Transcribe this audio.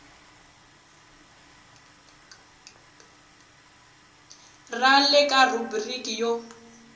ra le kaya rhubiriki yo